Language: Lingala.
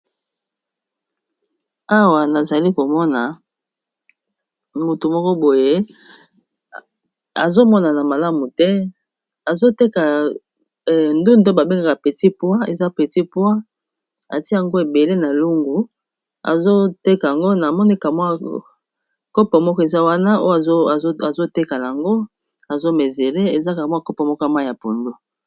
Awa nazali komona mutu moko boye azomonana malamu te, azoteka ndunda babengaka petit poid, eza petit poid batie yango ebele na lungu azoteka ango, na moni ka mua kopo moko eza wana oyo azotekala yango azo mesure nango, eza kaka mua moko ya mai ya pondu.